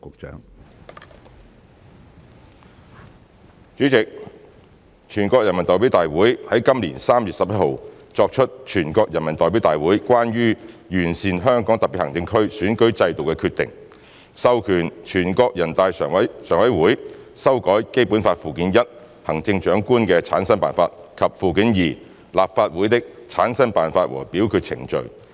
主席，全國人民代表大會在今年3月11日作出《全國人民代表大會關於完善香港特別行政區選舉制度的決定》，授權全國人大常務委員會修改《基本法》附件一《行政長官的產生辦法》及附件二《立法會的產生辦法和表決程序》。